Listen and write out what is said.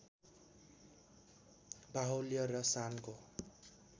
बाहुल्य र शानको